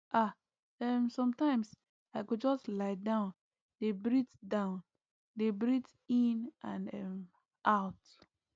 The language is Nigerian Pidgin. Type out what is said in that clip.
ah um sometimes i go just lie down dey breathe down dey breathe in and um out